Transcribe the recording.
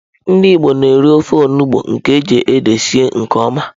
Ndị Igbo na-eri ofe onugbu nke eji ede sie nke oma.